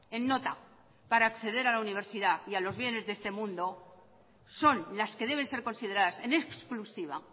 en nota para acceder a la universidad y a los bienes de este mundo son las que deben ser consideradas en exclusiva